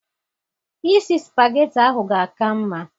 Isi spageti ahụ ga aka mma